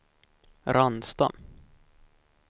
Ransta